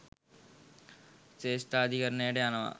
ශ්‍රේෂ්ඨාධිකරණයට යනවා.